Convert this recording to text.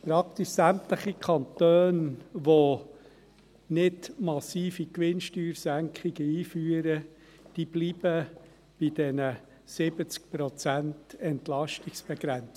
Praktisch sämtliche Kanone, welche nicht massive Gewinnsteuersenkungen einführen, bleiben bei den 70 Prozent Entlastungsbegrenzung.